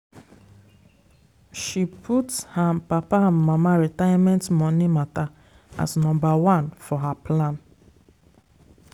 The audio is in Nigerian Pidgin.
she put her papa and mama retirement money matter as number one for her plan.